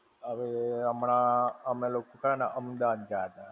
હવે, હમણાં અમે લોકો છે ને અમદાવાદ ગયા તા.